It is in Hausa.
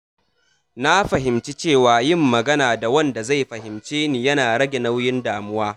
Na fahimci cewa yin magana da wanda zai fahimce ni yana rage nauyin damuwa.